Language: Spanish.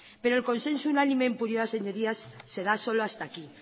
pero el consenso unánime en puridad señorías se da solo hasta aquí